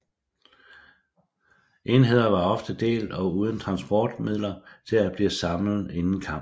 Enheder var ofte delt og uden transportmidler til at blive samlet inden kamp